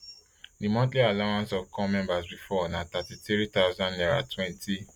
di monthly allowance of corps members bifor na thirty-three thousand naira twenty